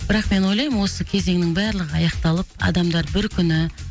бірақ мен ойлаймын осы кезеңнің барлығы аяқталып адамдар бір күні